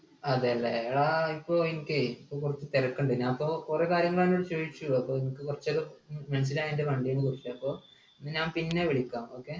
അതെ അല്ലെ ആ ഇപ്പൊ എനിക്ക് ഇപ്പോ കുറച്ച് തിരക്ക്ണ്ട് ഞാനിപ്പോ കൊറേ കാര്യങ്ങളെന്നോട് ചോയ്ച്ചു അപ്പൊ എനിക്ക് കുറച്ചൊരു മനസിലായി അൻ്റെ വണ്ടീനെക്കുറിച്ച് അപ്പൊ ഞാൻ പിന്നെ വിളിക്കാ okay